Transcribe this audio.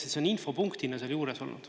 See on infopunktina seal juures olnud.